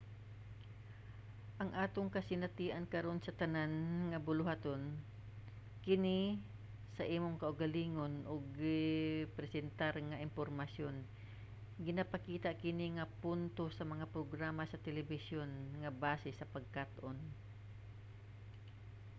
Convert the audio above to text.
ang atong kasinatian karon sa tanan nga buhaton-kini-sa imong kaugalingon ug gipresentar nga impormasyon ginapakita kini nga punto sa mga programa sa telebisyon nga base sa pagkat-on